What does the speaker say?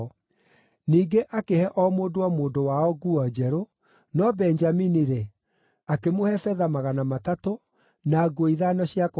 Ningĩ akĩhe o mũndũ o mũndũ wao nguo njerũ, no Benjamini-rĩ, akĩmũhe betha magana matatũ, na nguo ithano cia kũgarũrĩra.